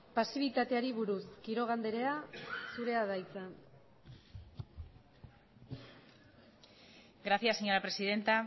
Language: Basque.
pasibitateari buruz quiroga andrea zurea da hitza gracias señora presidenta